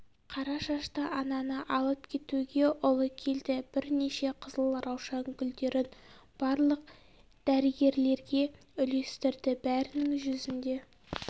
қара шашты ананы алып кетуге ұлы келді бірнеше қызыл раушан гүлдерін барлық дәрігерлерге үлестірді бәрінің жүзінде